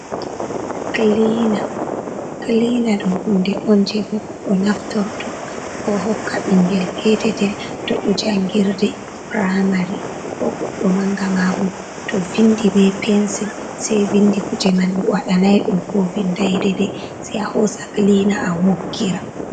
Kiliina, kiliina ɗo hunde on jey ko goɗɗo naftorto, ko hokka ɓinngel peetetel, to ɗo janngirde puramari, ko goɗɗo mannga. Maabo to vinndi be pensil, sey vinndi kuje man ɗo, waɗanay ɗum, ko vinnday deydey, sey a hoosa kilina, a woggira.